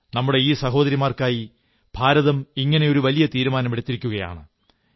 നമ്മുടെ ഈ സഹോദരിമാർക്കായി ഇന്ത്യ ഇങ്ങനെയൊരു വലിയ തീരുമാനമെടുത്തിരിക്കയാണ്